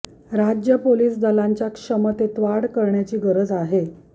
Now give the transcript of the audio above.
राज्य पोलीस दलांच्या क्षमतेत वाढ करण्याची गरज आहे